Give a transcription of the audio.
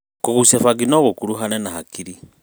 kũgucia fangi no gũkũruhane na hakiri